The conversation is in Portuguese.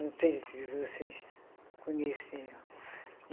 Não sei se vocês conhecem.